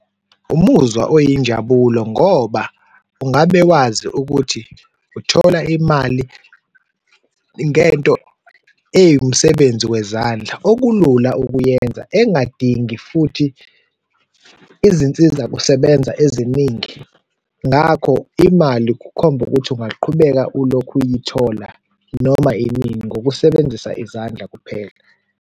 Umuzwa oyinjabulo ngoba ungabe wazi ukuthi uthola imali ngento ewumsebenzi wezandla, okulula ukuyenza engadingi futhi izinsizakusebenza eziningi, ngakho imali kukhomba ukuthi ungaqhubeka ulokhu uyithola noma inini ngokusebenzisa izandla kuphela.